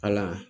Ala